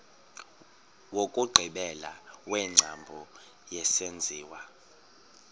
wokugqibela wengcambu yesenziwa